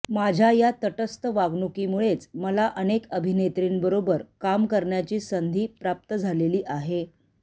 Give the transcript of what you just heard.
माझ्या या तटस्थ वागणुकीमुळेच मला अनेक अभिनेत्रींबरोबर काम करण्याची संधी प्राप्त झालेली आहे